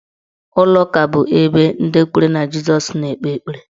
Ụlọụka bụ ebe ndị kwere na Jisọs na-ekpe ekpere.